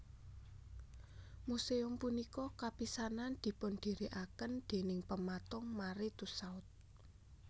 Museum punika kapisanan dipundirikaken déning pematung Marie Tussaud